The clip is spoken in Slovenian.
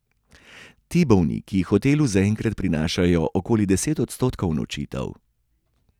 Ti bolniki hotelu zaenkrat prinašajo okoli deset odstotkov nočitev.